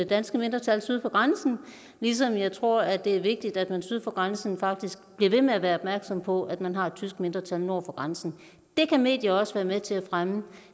danske mindretal syd for grænsen ligesom jeg tror at det er vigtigt at man syd for grænsen faktisk bliver ved med at være opmærksom på at man har et tysk mindretal nord for grænsen det kan medier også være med til at fremme